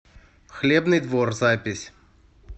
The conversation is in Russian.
хлебный двор запись